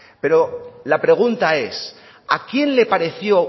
pero la pregunta es a quién le pareció